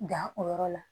Dan o yɔrɔ la